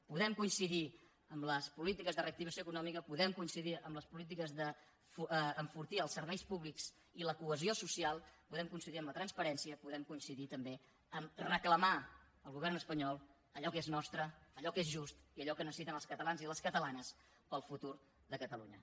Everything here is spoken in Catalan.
podem coincidir en les polítiques de reactivació econòmica podem coincidir en les polítiques d’enfortir els serveis públics i la cohesió social podem coincidir en la transparència podem coincidir també a reclamar al govern espanyol allò que és nostre allò que és just i allò que necessiten els catalans i les catalanes per al futur de catalunya